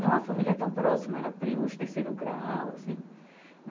Não a família tão próxima, era primos de terceiro grau assim.